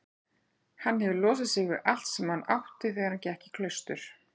Hann hefur losað sig við allt sem hann átti þegar hann gekk í klaustur.